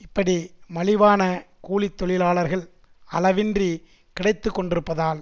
இப்படி மலிவான கூலி தொழிலாளர்கள் அளவின்றி கிடைத்துக்கொண்டிருப்பதால்